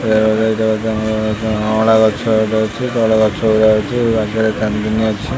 ଅଁଳା ଗଛ ଏକେ ଅଛି ବଡ ଗଛ ଗୁଡା ଅଛି ପାଖରେ ଚାନ୍ଦିନୀ ଅଛି।